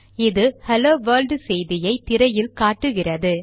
இது hello world செய்தியை திரையில் காட்டுகிறது